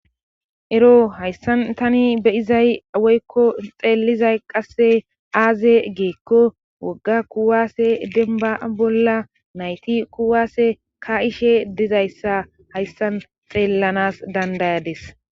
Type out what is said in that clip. ero hayssan tani beyizay woykko xeellizay qasse aaze gikko wogga kuwaase denba bolla nayti kuwaase ka'ishe dizayssa hayssan xeellanas dandayades